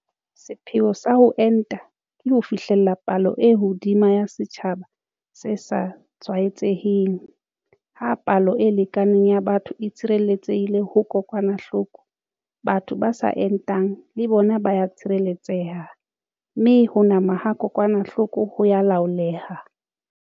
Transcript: Sepheo sa ho enta ke ho fihlella palo e hodimo ya setjhaba se sa tshwaetseheng - ha palo e lekaneng ya batho e tshireletsehile ho kokwanahloko, batho ba sa entang le bona ba a tshireletseha, mme ho nama ha kokwanahloko ho a laoleha.